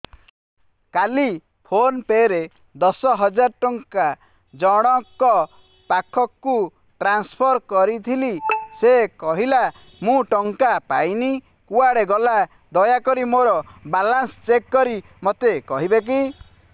କାଲି PhonePe ରେ ଦଶ ହଜାର ଟଙ୍କା ଜଣକ ପାଖକୁ ଟ୍ରାନ୍ସଫର୍ କରିଥିଲି ସେ କହିଲା ମୁଁ ଟଙ୍କା ପାଇନି କୁଆଡେ ଗଲା ଦୟାକରି ମୋର ବାଲାନ୍ସ ଚେକ୍ କରି ମୋତେ କହିବେ କି